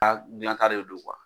ka de don kuwa